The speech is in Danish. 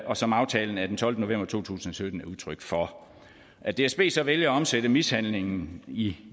og som aftalen af den tolvte november to tusind og sytten er udtryk for at dsb så vælger at omsætte mishandlingen i